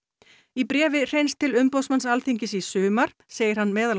í bréfi Hreins til umboðsmanns Alþingis í sumar segir hann meðal